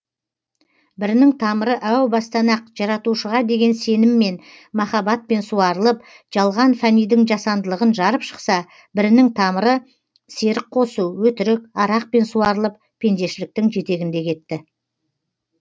бірінің тамыры әу бастан ақ жаратушыға деген сеніммен махаббатпен суарылып жалған фәнидің жасандылығын жарып шықса бірінің тамыры серік қосу өтірік арақпен суарылып пендешіліктің жетегінде кетті